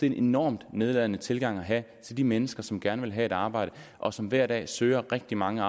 en enormt nedladende tilgang at have til de mennesker som gerne vil have et arbejde og som hver dag søger rigtig mange